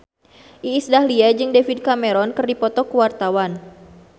Iis Dahlia jeung David Cameron keur dipoto ku wartawan